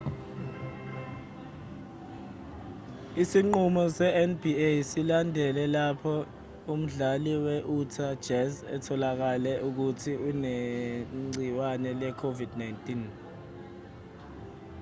isinqumo se-nba silandele lapho umdlali we-utah jazz etholakale ukuthi unegciwane le-covid-19